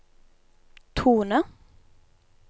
tone